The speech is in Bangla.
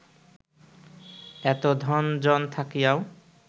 এত ধন জন থাকিয়াও